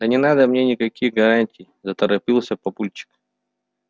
да не надо мне никаких гарантий заторопился папульчик